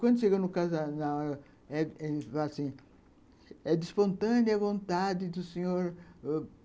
Quando chegou no, ele falou assim, é de espontânea vontade do Sr.